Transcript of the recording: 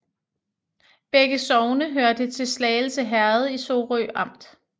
Begge sogne hørte til Slagelse Herred i Sorø Amt